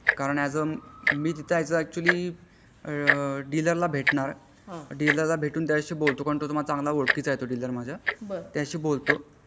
कारण यास आ मी तिथे अच्युअली डीलर ला भेटणार डीलर ला भेटून मी त्याचाशी बोलतो मग कारण तो चांगला ओळखीचा आहे डीलर माझा त्याचाशी बोलतो